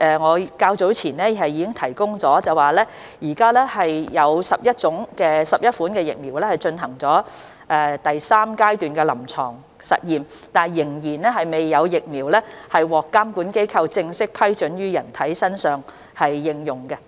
我較早前已經回答，現時有11款疫苗已進入第三階段臨床實驗，但仍未有疫苗獲監管機構正式批准於人體身上應用。